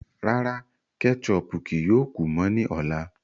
Rárá, kẹ́chọpù kíí yóò kú mọ ni ọ̀lá.